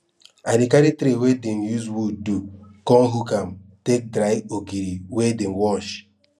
i dey carry tray wey dem use wood do con hook am take dry ogiri wey dem wash